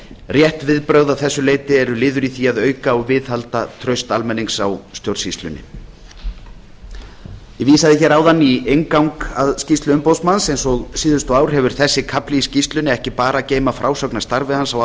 rétt viðbrögð að þessu leyti eru liður í því að auka og viðhalda trausti almennings á stjórnsýslunni ég vísaði áðan í inngang að skýrslu umboðsmanns eins og síðustu ár hefur þessi kafli í skýrslunni ekki bara að geyma frásögn af starfi hans á